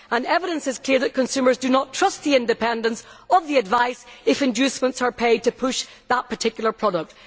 There is clear evidence that consumers do not trust the independence of the advice if inducements are paid to push a particular product.